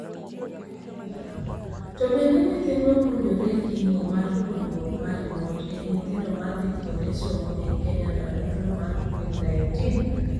To bende nyithindwa puonjore? Kimo mar puonjruok mar remote ei nyithindo madhii kuonde somo ei Kenya ndalo tulo mar Covid-19.